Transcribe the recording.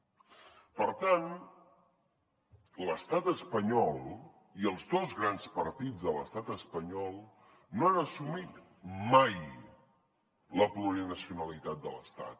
per tant l’estat espanyol i els dos grans partits de l’estat espanyol no han assumit mai la plurinacionalitat de l’estat